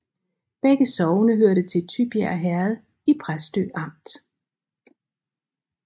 Begge sogne hørte til Tybjerg Herred i Præstø Amt